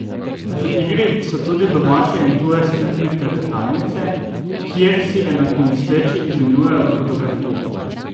V igri so tudi domače in tuje spletne klepetalnice, kjer si enakomisleči izmenjujejo fotografije.